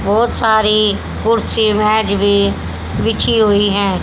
बहोत सारी कुर्सी मेज भी बिछी हुई हैं।